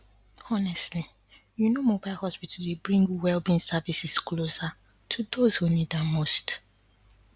honestly you know mobile hospital dey bring wellbeing services closer to those who need am the most